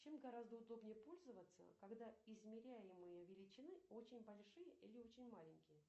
чем гораздо удобнее пользоваться когда измеряемые величины очень большие или очень маленькие